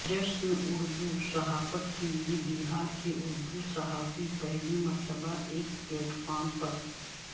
جشن اردو صحافت کے لیے بہار کے اردو صحافی پہلی مرتبہ ایک پلیٹ فارم پر